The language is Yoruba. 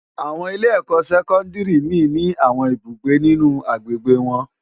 Awòn ilé èkò sèkòndári mi ni áwòn ibúgbé ninú ágbégbé wòn